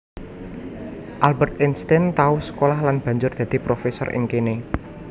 Albert Einstein tau sekolah lan banjur dadi profesor ing kéné